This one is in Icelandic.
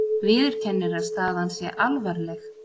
Viðurkennir að staðan sé alvarleg